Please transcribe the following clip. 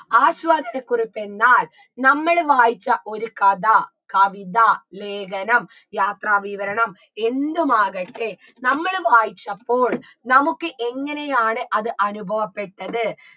ആസ്വാദനക്കുറിപ്പെന്നാൽ നമ്മള് വായിച്ച ഒരു കഥ കവിത ലേഖനം യാത്രാവിവരണം എന്തുമാകട്ടെ നമ്മള് വായിച്ചപ്പോൾ നമുക്ക് എങ്ങനെയാണ് അത് അനുഭവപ്പെട്ടത്